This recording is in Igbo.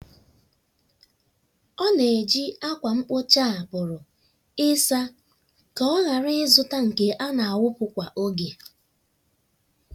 ọ na-eji ákwà mkpocha a pụrụ ịsa ka ọ ghara ịzụta nke a na-awụpụ kwa oge.